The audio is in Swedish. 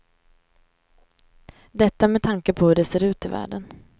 Detta med tanke på hur det ser ut i världen.